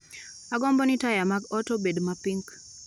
Agombo ni taya mag ot obed ma pink